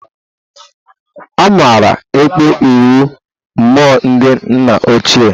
Amaara ekpo inwe mmụọ ndị nna ochie.